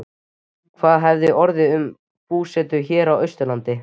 Hvað hefði þá orðið um búsetu hér á Austurlandi?